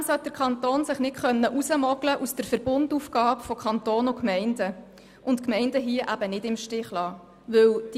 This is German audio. Zudem sollte sich der Kanton nicht aus der Verbundaufgabe zwischen Kanton und Gemeinden herausmogeln können und die Gemeinden im Stich lassen.